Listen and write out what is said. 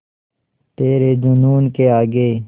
तेरे जूनून के आगे